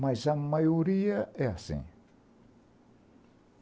Mas a maioria é assim.